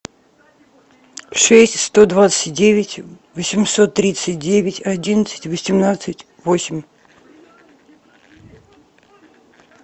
шесть сто двадцать девять восемьсот тридцать девять одиннадцать восемнадцать восемь